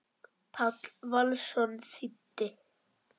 Páll Valsson þýddi.